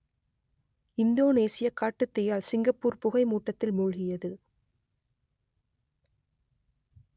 இந்தோனேசியக் காட்டுத்தீயால் சிங்கப்பூர் புகை மூட்டத்தில் மூழ்கியது